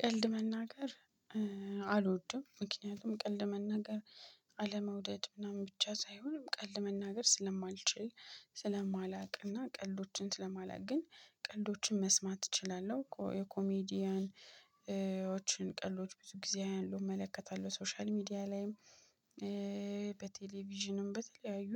ቀልድ መናገር አልወድም። ምክንያቱም ቀልድ መናገር አለመውደድ ምናምን ብቻ ሳይሆን ቀልድ መናገር ስለማልችል ስለማላውቅና ቀልዶችን ስለማላውቅ። ግን ቀልዶችን መስማት እችላለሁ የኮሜዲያኖችን ቀልዶች ብዙ ጊዜ አያለሁ እመለከታለሁ ሶሻል ሚዲያ ላይም። በቴሌቪዥንም በተለያዩ